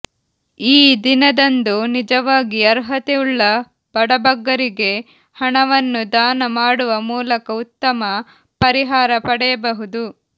ಈ ದಿನದಂದು ನಿಜವಾಗಿ ಅರ್ಹತೆಯುಳ್ಳ ಬಡಬಗ್ಗರಿಗೆ ಹಣವನ್ನು ದಾನ ಮಾಡುವ ಮೂಲಕ ಉತ್ತಮ ಪರಿಹಾರ ಪಡೆಯಬಹುದು